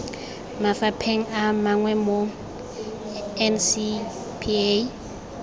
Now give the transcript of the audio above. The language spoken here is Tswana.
mafapheng a mangwe mo ncpa